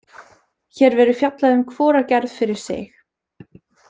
Hér verður fjallað um hvora gerð fyrir sig.